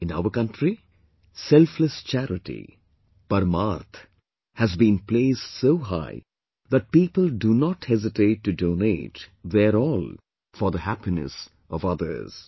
In our country, selfless charity, Parmarth has been placed so high that people do not hesitate to donate their all for the happiness of others